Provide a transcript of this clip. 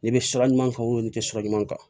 N'i bɛ sira ɲuman kan n'i tɛ sira ɲuman kan